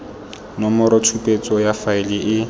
nomoro tshupetso ya faele e